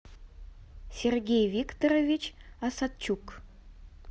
сергей викторович осадчук